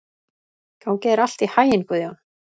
Gangi þér allt í haginn, Guðjón.